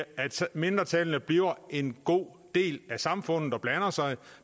mindretallene bliver en god del af samfundet og blander sig